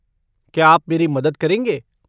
क्या आप मेरी मदद करेंगे?